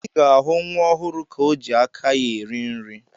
Ị ga-ahụ nwa ọhụrụ ka o ji aka ya eri nri.